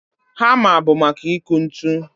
Hamma bụ maka ịkụ ntu